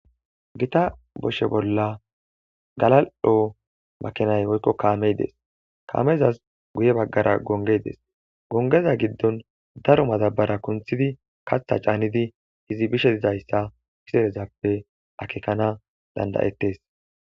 Gita boshe bolla galal7o makinay oykko kaameydes kaamezas guye baggara gongeydes gongeza giddon daro madabara kunthidi katha caanidi hizibishe dizayssa pizerezappe akekana dandayettes.